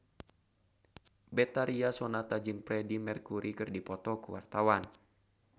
Betharia Sonata jeung Freedie Mercury keur dipoto ku wartawan